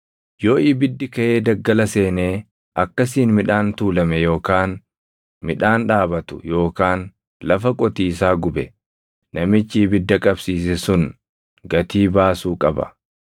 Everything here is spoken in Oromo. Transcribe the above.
“Yoo ibiddi kaʼee daggala seenee akkasiin midhaan tuulame yookaan midhaan dhaabatu yookaan lafa qotiisaa gube, namichi ibidda qabsiise sun gatii baasuu qaba.